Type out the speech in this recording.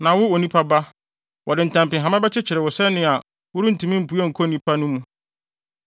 Na wo, onipa ba, wɔde ntampehama bɛkyekyere wo sɛnea worentumi mpue nkɔ nnipa no mu.